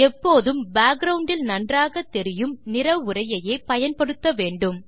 எப்போதும் பேக்கிரவுண்ட் இல் நன்றாகத்தெரியும் நிற உரையையே பயன்படுத்த வேண்டும்